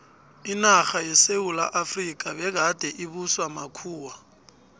inarha yesewula efrika begade ibuswa makhuwa